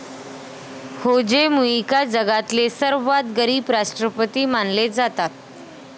होजे Mujica जगातले सर्वात गरीब राष्ट्रपति मानले जतात.